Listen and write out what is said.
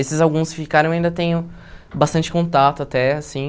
Esses alguns que ficaram, eu ainda tenho bastante contato até, assim.